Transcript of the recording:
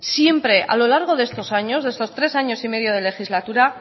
siempre a lo largo de estos años de estos tres años y medio de legislatura